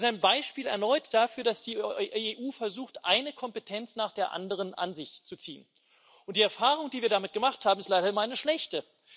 Das ist erneut ein Beispiel dafür, dass die EU versucht, eine Kompetenz nach der anderen an sich zu ziehen, und die Erfahrung, die wir damit gemacht haben, ist leider immer eine schlechte.